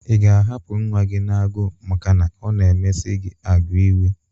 Ị ga-ahapụ nwa gi n'agụụ maka na ọ na-emesi gi agwa iwe?